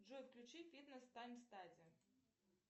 джой включи фитнес тайм стади